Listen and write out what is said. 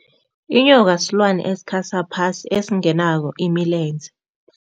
Inyoka yisilwane esikhasa phasi esingenawo imilenze.